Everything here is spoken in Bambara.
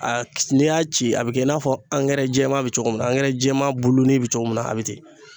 A n'i y'a ci a bɛ kɛ i n'a fɔ jɛman bɛ cogo min na jɛman bulunin bɛ cogo min na a bɛ ten